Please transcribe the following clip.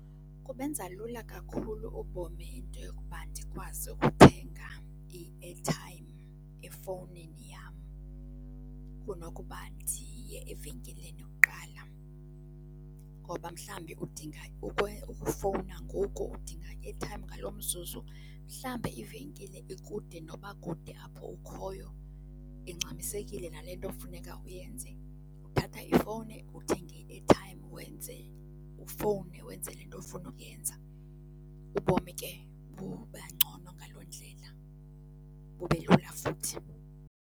Kubenza lula kakhulu ubomi into yokuba ndikwazi ukuthenga i-airtime efowunini yam kunokuba ndiye evenkileni kuqala ngoba mhlambi udinga ukufowuna ngoku, udinga i-airtime ngaloo mzuzu, mhlambe ivenkile ikude noba kude apho ukhoyo, ingxamisekileyo nale nto kufuneka uyenze. Uthatha ifowuni uthenge i-airtime wenze, ufowune wenze le nto ofuna ukuyenza. Ubomi ke bubangcono ngaloo ndlela. Bube lula futhi.